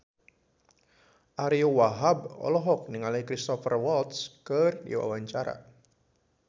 Ariyo Wahab olohok ningali Cristhoper Waltz keur diwawancara